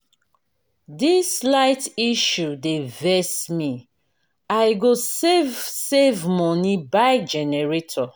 dis light issue dey vex me i go save save moni buy generator.